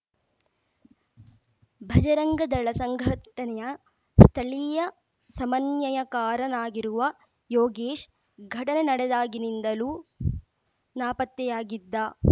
ಭಜರಂಗದಳ ಸಂಘಟನೆಯ ಸ್ಥಳೀಯ ಸಮನ್ಯಯಕಾರನಾಗಿರುವ ಯೋಗೇಶ್‌ ಘಟನೆ ನಡೆದಾಗಿನಿಂದಲೂ ನಾಪತ್ತೆಯಾಗಿದ್ದ